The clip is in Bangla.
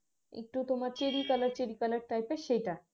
একটু তোমার cheri color cheri color type এর সেইটা